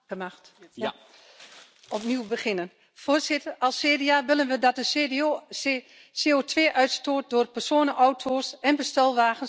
Voorzitter, als CDA willen we dat de CO2 uitstoot door personenauto's en bestelwagens tot 2030 fors afneemt.